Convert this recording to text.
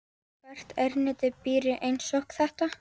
Og hvert erindi byrji einsog þetta.